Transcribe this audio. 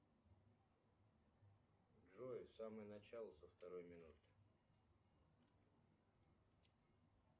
джой в самое начало со второй минуты